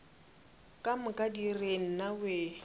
ka moka di re nnawee